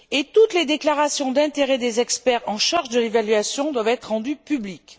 Toutes les déclarations d'intérêt des experts en charge de l'évaluation doivent être rendues publiques.